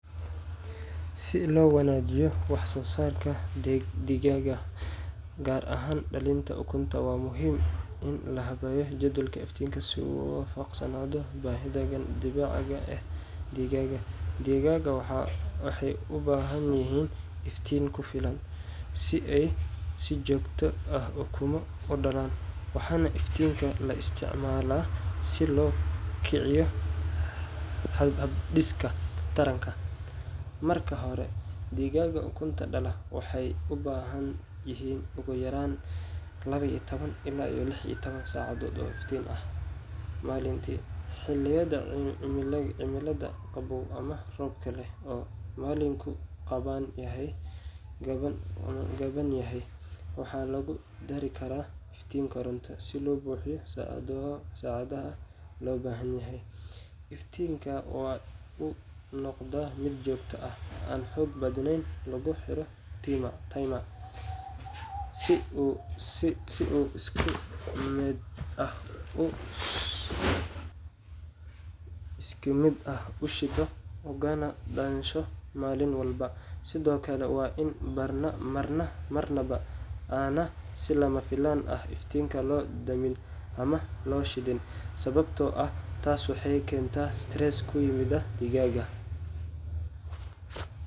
Si loo wanaajiyo wax-soo-saarka digaaga, gaar ahaan dhalitaanka ukunta, waa muhiim in la habeeyo jadwalka iftiinka si uu u waafaqsanaado baahida dabiiciga ah ee digaagga. Digaagga waxay u baahan yihiin iftiin ku filan si ay si joogto ah ukumo u dhalaan, waxaana iftiinka la isticmaalaa si loo kiciyo habdhiska taranka. Marka hore, digaagga ukunta dhala waxay u baahan yihiin ugu yaraan toban iyo labo ilaa lix iyo toban saacadood oo iftiin ah maalintii. Xilliyada cimilada qaboow ama roobka leh oo maalinku gaaban yahay, waxaa lagu dari karaa iftiin koronto si loo buuxiyo saacadaha loo baahan yahay. Iftiinka waa in uu noqdaa mid joogto ah, aan xoog badanayn, laguna xiro timer si uu si isku mid ah u shido ugana dansho maalin walba. Sidoo kale, waa in marnaba aan si lama filaan ah iftiinka loo damin ama loo shidin, sababtoo ah taas waxay keentaa stress ku yimaada digaagga.